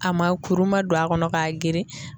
A ma kuru ma don a kɔnɔ ka geren.